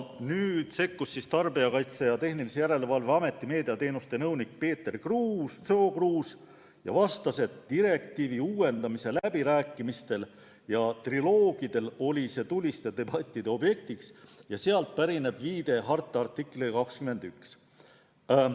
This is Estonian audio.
Nüüd sekkus Tarbijakaitse ja Tehnilise Järelevalve Ameti meediateenuste nõunik Peeter Sookruus ja vastas, et direktiivi uuendamise läbirääkimistel ja triloogidel oli see tuliste debattide objektiks ja sealt pärineb viide harta artiklile 21.